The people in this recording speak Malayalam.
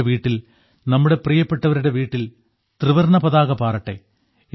നമ്മുടെ വീട്ടിൽ നമ്മുടെ പ്രിയപ്പെട്ടവരുടെ വീട്ടിൽ ത്രിവർണ്ണ പതാക പാറട്ടെ